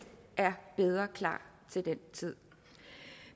er bedre klar til den tid